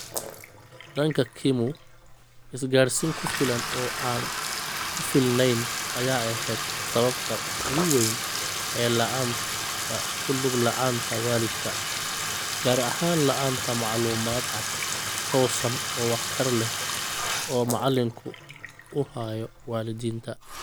Dhanka Kimu, isgaarsiin ku filan oo aan ku filneyn ayaa ahayd sababta ugu weyn ee la'aanta ku lug la'aanta waalidka, gaar ahaan la'aanta macluumaad cad, toosan oo waxtar leh oo macalinku u hayo waalidiinta.